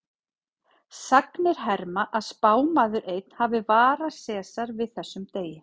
Sagnir herma að spámaður einn hafi varað Sesar við þessum degi.